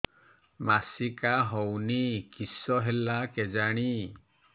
ମାସିକା ହଉନି କିଶ ହେଲା କେଜାଣି